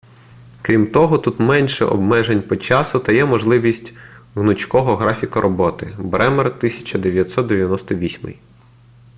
крім того тут менше обмежень по часу та є можливість гнучкого графіка роботи бремер 1998